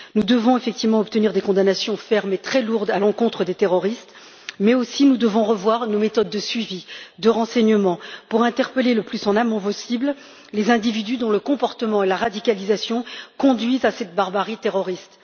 Nous devons effectivement obtenir des condamnations fermes et très lourdes à l'encontre des terroristes, mais aussi revoir nos méthodes de suivi et de renseignement, pour interpeller le plus en amont possible les individus dont le comportement et la radicalisation conduisent à cette barbarie terroriste.